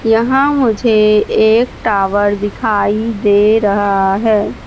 यहां मुझे एक टावर दिखाई दे रहा है।